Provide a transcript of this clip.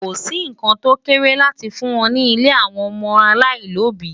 Ko sì nǹkan tó kéré láti fún wọn ní ilé àwọn ọmọ aláìlóbìí